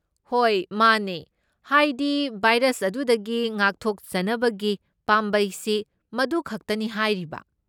ꯍꯣꯏ ꯃꯥꯅꯦ, ꯍꯥꯏꯗꯤ ꯚꯥꯏꯔꯁ ꯑꯗꯨꯗꯒꯤ ꯉꯥꯛꯊꯣꯛꯆꯅꯕꯒꯤ ꯄꯥꯝꯕꯩꯁꯤ ꯃꯗꯨꯈꯛꯇꯅꯤ ꯍꯥꯏꯔꯤꯕ꯫